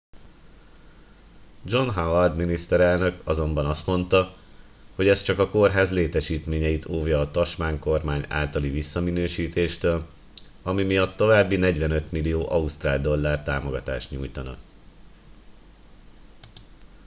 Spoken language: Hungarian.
john howard miniszterelnök azonban azt mondta hogy ez csak a kórház létesítményeit óvja a tasmán kormány általi visszaminősítéstől ami miatt további 45 millió ausztrál dollár támogatást nyújtanak